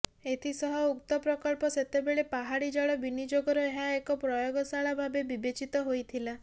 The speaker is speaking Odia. ଏଥିସହ ଉକ୍ତ ପ୍ରକଳ୍ପ ସେତେବେଳେ ପାହାଡ଼ି ଜଳ ବିନିଯୋଗର ଏହା ଏକ ପ୍ରୟୋଗଶାଳା ଭାବେ ବିବେଚିତ ହୋଇଥିଲା